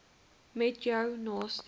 met jou naaste